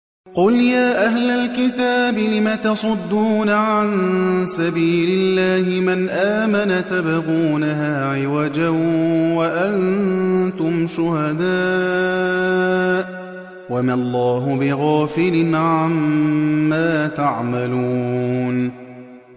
قُلْ يَا أَهْلَ الْكِتَابِ لِمَ تَصُدُّونَ عَن سَبِيلِ اللَّهِ مَنْ آمَنَ تَبْغُونَهَا عِوَجًا وَأَنتُمْ شُهَدَاءُ ۗ وَمَا اللَّهُ بِغَافِلٍ عَمَّا تَعْمَلُونَ